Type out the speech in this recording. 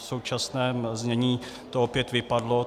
V současném znění to opět vypadlo.